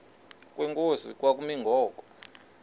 kwenkosi kwakumi ngoku